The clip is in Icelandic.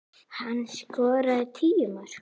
Hann skoraði tíu mörk.